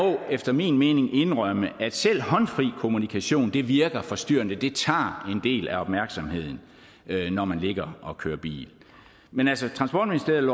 efter min mening indrømme at selv håndfri kommunikation virker forstyrrende det tager en del af opmærksomheden når man ligger og kører bil men altså transportministeriet